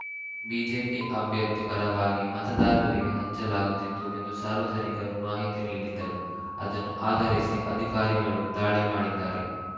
BJP ಅಭ್ಯರ್ಥಿ ಪರವಾಗಿ ಮತದಾರರಿಗೆ ಹಂಚಲಾಗುತ್ತಿತ್ತು ಎಂದು ಸಾರ್ವಜನಿಕರು ಮಾಹಿತಿ ನೀಡಿದ್ದರು ಅದನ್ನು ಆಧರಿಸಿ ಅಧಿಕಾರಿಗಳು ದಾಳಿ ಮಾಡಿದ್ದಾರೆ